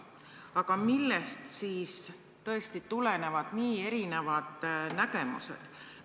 Aga tõesti, millest siis tulenevad nii erinevad nägemused?